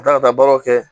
Ka taa ka taa baaraw kɛ